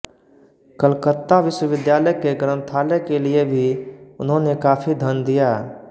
कलकत्ता विश्वविद्यालय के ग्रन्थालय के लिए भी उन्होंने काफी धन दिया